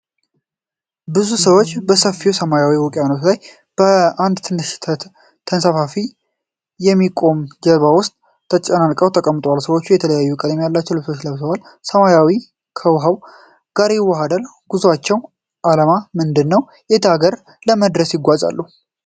ብዙ ሰዎች በሰፊው ሰማያዊ ውቅያኖስ ላይ በአንድ ትንሽ ነጭ ተነፍቶ በሚቆም ጀልባ ውስጥ ተጨናንቀው ተቀምጠዋል። ሰዎቹ የተለያዩ ቀለም ያላቸው ልብሶችን ለብሰዋል። ሰማያዊው ሰማይ ከውኃው ጋር ይዋሃዳል። የጉዞአቸው ዓላማ ምንድን ነው? የትኛውን አገር ለመድረስ ይጓዛሉ?